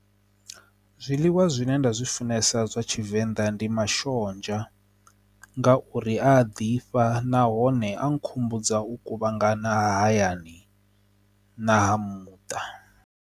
Zwiḽiwa zwine nda zwi funesa zwa tshivenḓa ndi mashonzha nga uri a ḓifha nahone a nkhumbudza u kuvhangana hayani na ha muṱa.